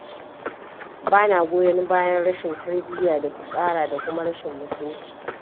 Bana goyon bayan rashin tarbiyya da fitsara da kuma rashin mutunci.